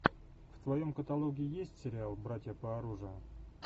в твоем каталоге есть сериал братья по оружию